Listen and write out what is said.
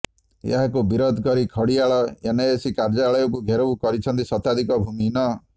ଏହାକୁ ବିରେଧ କରି ଖଡିଆଳ ଏନଏସି କାର୍ଯ୍ୟାଳୟକୁ ଘେରାଉ କରିଛନ୍ତି ଶତାଧିକ ଭୂମିହୀନ